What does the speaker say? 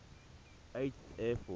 eighth air force